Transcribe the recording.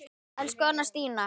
Elsku Anna Stína.